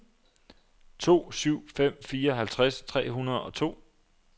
to syv fem fire halvtreds tre hundrede og to